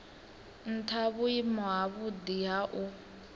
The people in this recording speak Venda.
ntha vhuimo havhudi ha u